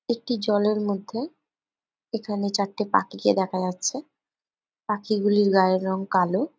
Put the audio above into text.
একটি জলের মধ্যে এখানে চারটে পাখিকে দেখা যাচ্ছে পাখিগুলির গায়ের রং কালো।